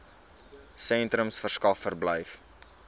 sentrums verskaf verblyf